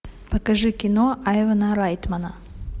покажи кино айвана райтмана